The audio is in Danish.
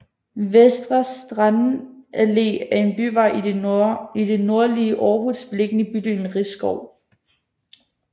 Vestre Strandallé er en byvej i det nordlige Aarhus beliggende i bydelen Risskov